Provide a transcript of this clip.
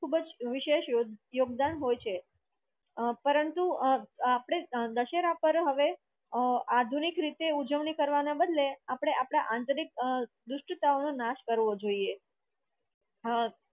ખૂબ જ વિશેષ યોગદાન હોય છે પરંતુ અ આપણે દશેરા પર હવે આધુનિક રીતે ઉજવણી કરવાના બદલે આપણે આપણા આંતરિક અ દુષ્ટતાનો નાશ કરવો જોઈએ અમ